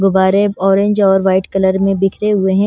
गुबारे ऑरेंज और white colour में बिखरे हुए हैं।